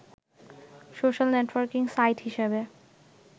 social networking site হিসেবে